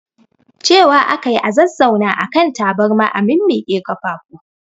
Cewa ake yi a zazzauna a kan taburma a mimmiƙwe kafafu